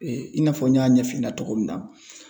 i n'a fɔ n y'a ɲɛf'i ɲɛna cogo min na